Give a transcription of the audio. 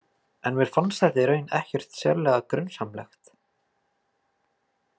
En mér fannst þetta í raun ekkert sérlega grunsamlegt.